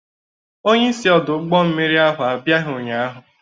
Onyeisi ọdụ ụgbọ mmiri ahụ abịaghị ụnyaahụ.